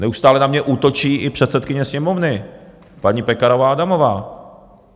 Neustále na mě útočí i předsedkyně Sněmovny, paní Pekarová Adamová.